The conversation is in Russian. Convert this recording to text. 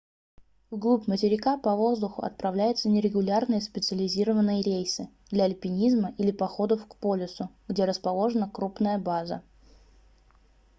вглубь материка по воздуху отправляются нерегулярные специализированные рейсы для альпинизма или походов к полюсу где расположена крупная база